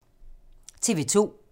TV 2